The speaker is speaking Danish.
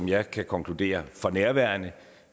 jeg kan konkludere for nærværende